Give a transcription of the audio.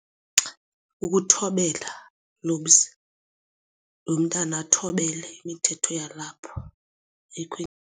Ukuthobela kulo mzi, lo mntana athobele imithetho yalapha ayikhwenyinto.